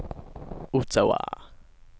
Ottawa